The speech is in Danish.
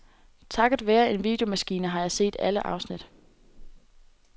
Takket være en videomaskine har jeg set alle afsnit.